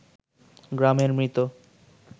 গ্রামের মৃত